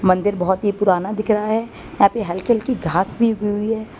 मंदिर बहोत ही पुराना दिख रहा है यहा पे हल्की हल्की घास भी उगी हुई है।